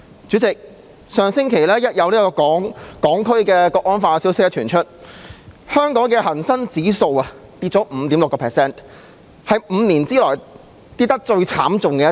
主席，上星期有關《決定》的消息傳出後，香港的恒生指數下跌了 5.6%， 是5年內下跌得最慘烈的一次。